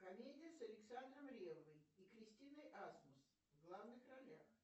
комедия с александром реввой и кристиной асмус в главных ролях